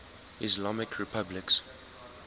islamic republics